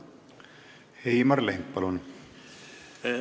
Heimar Lenk, palun!